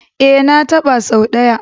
E, na taɓa sau ɗaya.